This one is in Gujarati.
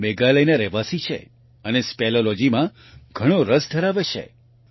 તે મેઘાલયનો રહેવાસી છે અને સ્પેલિયોલોજી સ્પેલોલોજીમાં ઘણો રસ ધરાવે છે